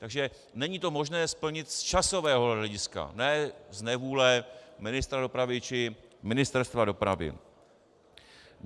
Takže není to možné splnit z časového hlediska, ne z nevůle ministra dopravy či Ministerstva dopravy.